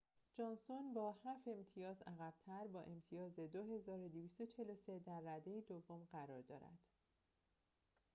جانسون با هفت امتیاز عقب‌تر با امتیاز ۲,۲۴۳ در رده دوم قرار دارد